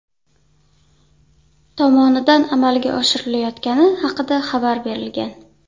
tomonidan amalga oshirilayotgani haqida xabar berilgan.